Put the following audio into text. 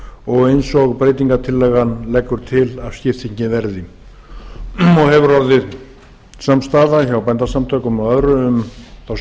og eins og breytingartillagan leggur til að skiptingin verði hefur orðið samstaða hjá bændasamtökunum og öðrum um þá